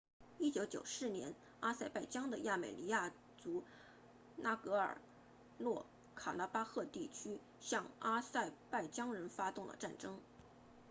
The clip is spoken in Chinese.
1994年阿塞拜疆的亚美尼亚族纳戈尔诺卡拉巴赫地区向阿塞拜疆人发动了战争